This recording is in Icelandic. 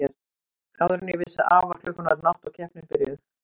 Áður en ég vissi af var klukkan orðin átta og keppnin byrjuð.